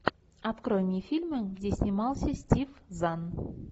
открой мне фильмы где снимался стив зан